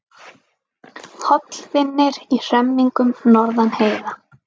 Hollvinir í hremmingum norðan heiða